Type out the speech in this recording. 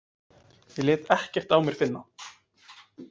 Ég lét ekkert á mér finna.